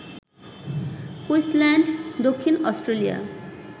Queensland, দক্ষিণ Australia